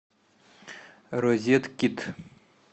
розеткед